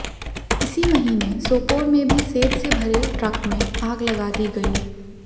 इसी महीने सोपोर में भी सेब से भरे ट्रक में आग लगा दी गई